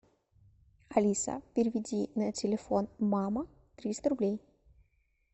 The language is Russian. алиса переведи на телефон мама триста рублей